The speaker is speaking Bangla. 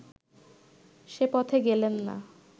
সে পথে গেলেন না